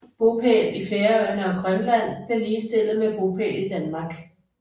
Bopæl i Færøerne og Grønland blev ligestillet med bopæl i Danmark